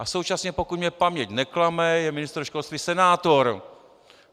A současně, pokud mě paměť neklame, je ministr školství senátor.